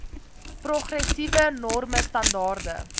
progressiewe norme standaarde